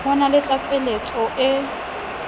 ho na le tlatseletso e